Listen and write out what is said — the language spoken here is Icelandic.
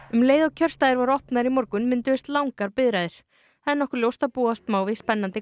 um leið og kjörstaðir voru opnaðir í morgun mynduðust langar biðraðir það er nokkuð ljóst að búast má við spennandi